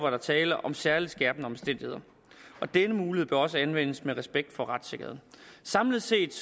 er tale om særlig skærpende omstændigheder og denne mulighed bør også anvendes med respekt for retssikkerheden samlet set